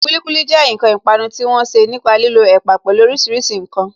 Kulikuli jẹ́ ǹkan ìpanu tí wọ́n ṣe nípa lílo ẹ̀pà, pẹlu orísìírísìí ǹkan